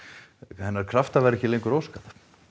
hennar krafta væri ekki lengur óskað